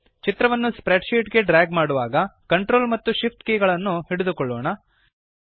ಚಿತ್ರವನ್ನು spreadsheet ಗೆ drag ಮಾಡುವಾಗ ಕಂಟ್ರೋಲ್ ಮತ್ತು Shift ಕೀಲಿಗಳನ್ನು ಒತ್ತಿ ಹಿಡಿದುಕೊಳ್ಳೋಣ